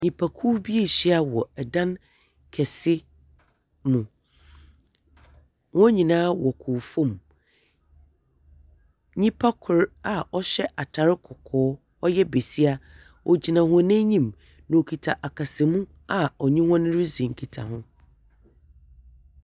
Nnyipakuw bi anhyia wɔ ɛdan kɛse mu. Wɔn nyinaa wɔ kuwfo mu. Nnyipa kor a ɔhyɛ kɔkɔɔ; ɔyɛ besia, ogyina hɔn enyim. Okita akasamu a ɔnye hɔn redzi nkitaho.